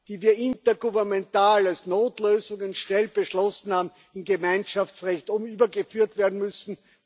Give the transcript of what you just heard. die wir intergouvernemental als Notlösungen schnell beschlossen haben, in Gemeinschaftsrecht übergeführt werden müssen.